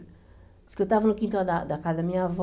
Diz que eu estava no quintal da da casa da minha avó,